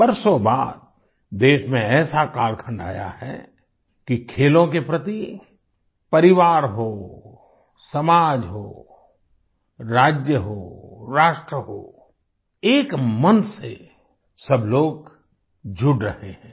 वर्षों बाद देश में ऐसा कालखंड आया है कि खेलों के प्रति परिवार हो समाज हो राज्य हो राष्ट्र हो एक मन से सब लोग जुड़ रहे हैं